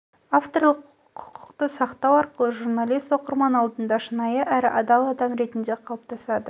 авторлық құқықты сақтау арқылы журналист оқырман алдында шынайы әрі адал адам ретінде қалыптасады